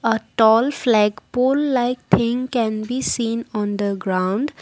a tall flag pole like think can be seen on the ground.